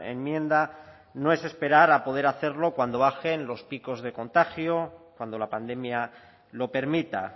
enmienda no es esperar a poder hacerlo cuando bajen los picos de contagio cuando la pandemia lo permita